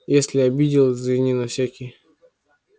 если обидел извини на всякий